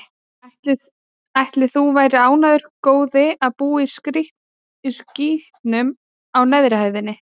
Ætli þú værir ánægður, góði, að búa í skítnum á neðri hæðinni?